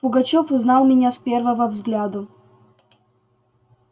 пугачёв узнал меня с первого взгляду